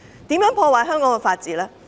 如何破壞香港的法治？